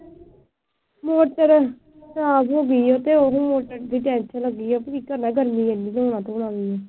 motor ਖਰਾਬ ਹੋ ਗਈ ਤੇ ਉਹਨੂੰ ਮੋਟਰ ਦੀ ਟੈਂਕੀ ਲੱਗੀ ਆ